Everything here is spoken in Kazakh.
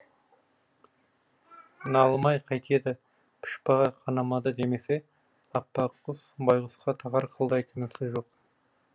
налымай қайтеді пұшпағы қанамады демесе аппаққыз байғұсқа тағар қылдай кінәсі жоқ